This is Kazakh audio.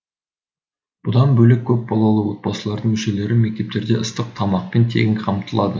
бұдан бөлек көпбалалы отбасылардың мүшелері мектептерде ыстық тамақпен тегін қамтылады